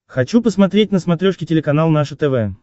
хочу посмотреть на смотрешке телеканал наше тв